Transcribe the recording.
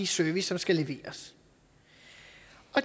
service der skal leveres